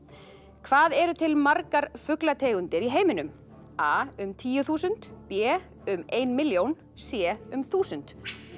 hvað eru til margar fuglategundir í heiminum a um tíu þúsund b um ein milljón c um þúsund